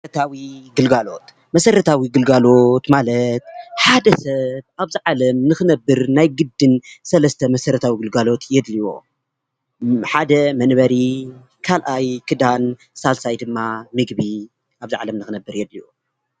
መስረታዊ ግልጋሎት: መስረታዊ ግልጋሎት ማለት ሓደ ሰብ አብዚ ዓለም ንክነብር ናይ ግድን ሰለስተ መስረታዊ ግልጋሎት የድልዮ። ሓደ መንበሪ፣ ካልአይ ክዳን ፣ሳልሳይ ድማ ምግቢ አብዛ ዓለም ንክነብር የድልዮ፡፡